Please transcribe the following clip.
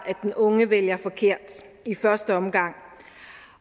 at den unge vælger forkert i første omgang